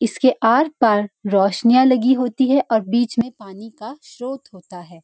इसके आर पार रोशनियां लगी हाेती है और बीच में पानी का स्‍त्रोत होता है।